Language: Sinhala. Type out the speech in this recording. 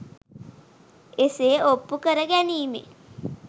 එසේ ඔප්පු කර ගැනීමෙන්